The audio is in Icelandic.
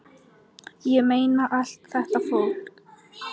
Ég meina, allt þetta fólk!